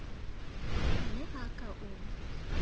a ne a ka o